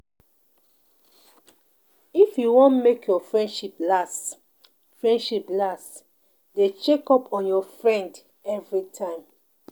If you wan make your friendship last, friendship last, dey check up on your friend everytime.